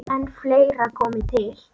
En fleira komi til.